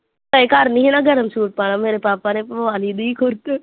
ਤੇ ਗਰਮੀ ਹਨਾ ਗਰਮ ਸੂਟ ਪਾ ਲਾ ਮੇਰੇ ਪਾਪਾ ਨੇ ਪਵਾ ਲਈ ਦੀ ਖੁਰਕ